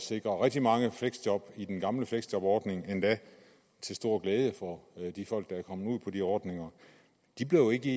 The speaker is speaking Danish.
sikre rigtig mange fleksjob i den gamle fleksjobordning endda til stor glæde for de folk der er kommet ud på de ordninger de blev ikke